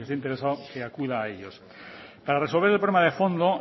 y el que esté interesado que acuda a ellos para resolver el problema de fondo